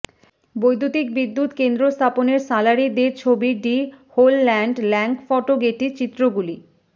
বৈদ্যুতিক বিদ্যুৎ কেন্দ্র স্থাপনের সালারি দে ছবি ডি হোলল্যান্ড্ল্যাঙ্কফটো গেটি চিত্রগুলি